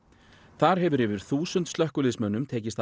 þar hefur yfir þúsund slökkviliðsmönnum tekist að